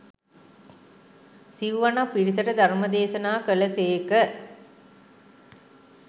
සිව්වණක් පිරිසට ධර්ම දේශනා කළ සේක.